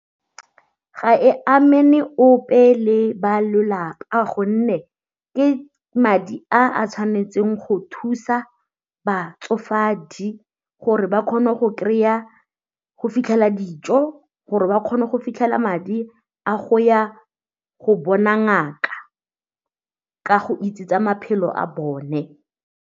Ga e amane ope le ba lelapa a gonne ke madi a a tshwanetseng go thusa batsofadi gore ba kgone go fitlhela dijo, gore ba kgone go fitlhela madi a go ya go bona ngaka ka go itse tsa maphelo a bone.